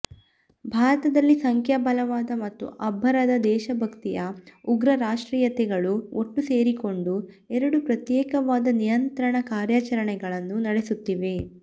ಭಾರತದಲ್ಲಿ ಸಂಖ್ಯಾಬಲವಾದ ಮತ್ತು ಅಬ್ಬರದ ದೇಶಭಕ್ತ್ತಿಯ ಉಗ್ರ ರಾಷ್ಟ್ರೀಯತೆಗಳು ಒಟ್ಟು ಸೇರಿಕೊಂಡು ಎರಡು ಪ್ರತ್ಯೇಕವಾದ ನಿಯಂತ್ರಣ ಕಾರ್ಯಾಚರಣೆಗಳನ್ನು ನಡೆಸುತ್ತಿವೆ